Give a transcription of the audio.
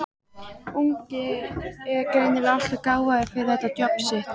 ungi er greinilega alltof gáfaður fyrir þetta djobb sitt.